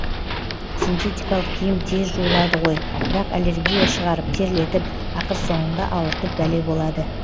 синтетикалық киім тез жуылады ғой бірақ аллергия шығарып терлетіп ақыр соңында ауыртып бәле болады